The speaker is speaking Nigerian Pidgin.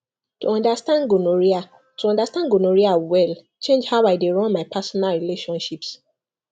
to understand gonorrhea to understand gonorrhea well change how i dey run my personal relationships